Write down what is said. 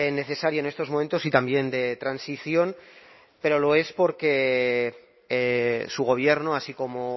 necesario en estos momentos y también de transición pero lo es porque su gobierno así como